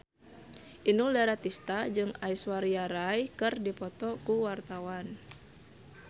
Inul Daratista jeung Aishwarya Rai keur dipoto ku wartawan